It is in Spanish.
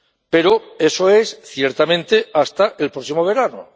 Pero eso es, ciertamente, hasta el próximo verano.